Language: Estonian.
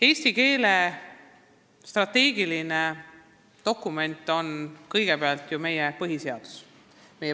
Eesti keele strateegiline dokument on eelkõige meie põhiseadus.